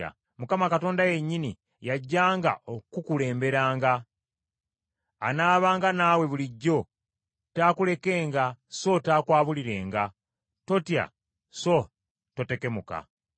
Mukama Katonda yennyini y’ajjanga okukukulemberanga. Anaabanga naawe bulijjo, taakulekenga so taakwabulirenga. Totya so totekemuka.”